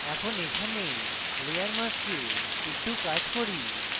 এখন এখানে layer mask একটু কাজ করি